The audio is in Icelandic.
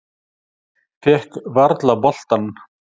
Fékk varla boltann.